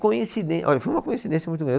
Coincidên, olha, foi uma coincidência muito grande.